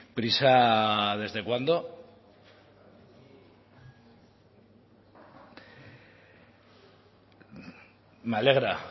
prisa desde cuándo me alegra